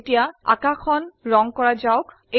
এতিয়া আকাশখন ৰঙ কৰা যাওক